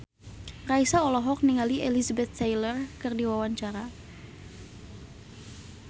Raisa olohok ningali Elizabeth Taylor keur diwawancara